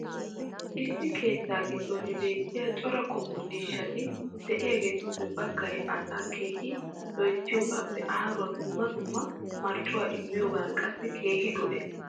issi keettaa giddon beettiya cora qommo ciishshati diyaageetuppe bagay asaa keehi loyttiyoogaappe aaruwa dumma dumma marccuwaa immiyoogan qassi keehi go'ees.